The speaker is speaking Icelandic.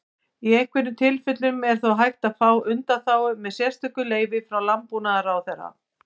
Í einhverjum tilfellum er þó hægt að fá undanþágu með sérstöku leyfi frá Landbúnaðarráðherra.